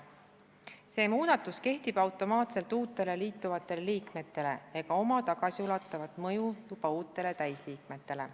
See muudatus kehtib automaatselt uutele liituvatele liikmetele ega oma tagasiulatuvat mõju täisliikmetele.